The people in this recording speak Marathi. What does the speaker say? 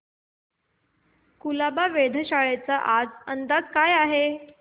कुलाबा वेधशाळेचा आजचा अंदाज काय आहे